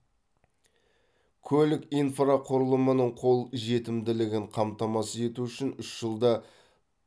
көлік инфрақұрылымының қол жетімділігін қамтамасыз ету үшін үш жылда